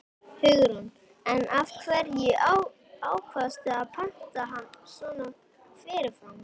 Hugrún: En af hverju ákvaðstu að panta hann svona fyrirfram?